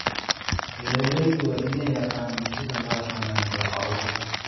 Beeraleydu waa inay yaqaaniin sida loo xannaaneeyo xoolaha.